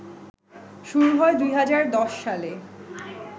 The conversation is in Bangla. শুরু হয় ২০১০ সালে